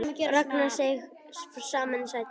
Ragnar seig saman í sætinu.